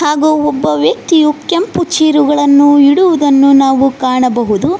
ಹಾಗೂ ಒಬ್ಬ ವ್ಯಕ್ತಿಯು ಕೆಂಪು ಚೇರು ಗಳನ್ನು ಇಡುವುದನ್ನು ನಾವು ಕಾಣಬಹುದು.